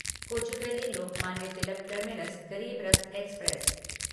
Kochuveli Lokmanya Tilak terminus Garib Rath express